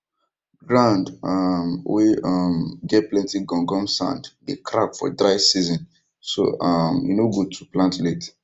ground um wey um get plenty gum gum sand dey crack for dry season so um e no good to plant late